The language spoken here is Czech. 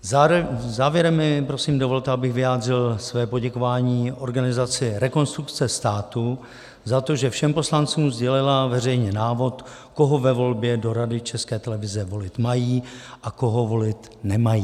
Závěrem mi prosím dovolte, abych vyjádřil své poděkování organizaci Rekonstrukce státu za to, že všem poslancům sdělila veřejně návod, koho ve volbě do Rady České televize volit mají a koho volit nemají.